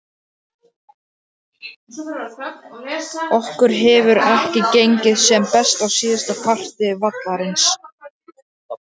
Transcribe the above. Okkur hefur ekki gengið sem best á síðasta parti vallarins.